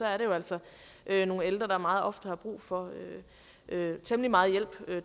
er det jo altså nogle ældre der meget ofte har brug for temmelig meget hjælp